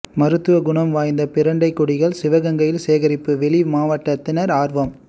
மருத்துவ குணம் வாய்ந்த பிரண்டை கொடிகள் சிவகங்கையில் சேகரிப்பு வெளி மாவட்டத்தினர் ஆர்வம்